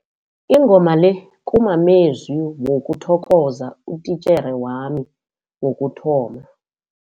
Ingoma le kumamezwi wokuthokoza utitjhere wami wokuthoma.